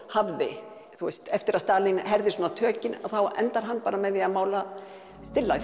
hafði eftir að Stalín herðir svona tökin endar hann bara með að mála still